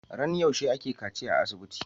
Ran yaushe ake kaciya a asibiti